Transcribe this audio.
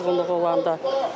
Yuxu pozğunluğu olanda.